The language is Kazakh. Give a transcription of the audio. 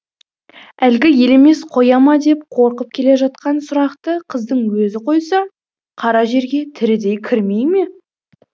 әлгі елемес қоя ма деп қорқып келе жатқан сұрақты қыздың өзі қойса қара жерге тірідей кірмей ме